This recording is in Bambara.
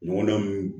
Ɲɔgɔndanw